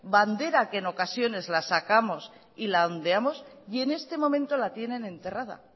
bandera que en ocasiones la sacamos y la ondeamos y en este momento la tienen enterrada